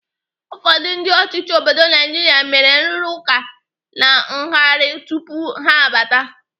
Ụfọdụ ndị ọchịchị obodo Naijiria mere nrụrụaka na ngarị tupu ha abata.